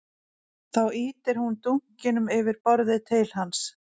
Þá ýtir hún dunkinum yfir borðið til hans